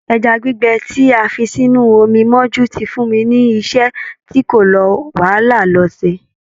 Ẹja gbígbẹ tí a fi sínú omi mọ́jú ti fun mi ní iṣẹ́ tí kò la wàhálà lọ ṣe.